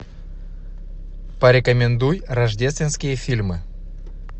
порекомендуй рождественские фильмы